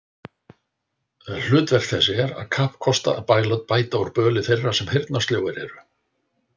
Hlutverk þess er að kappkosta að bæta úr böli þeirra, sem heyrnarsljóir eru